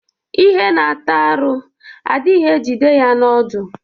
Ihe na-ata arụ adịghị ejide ya n'ọdụ.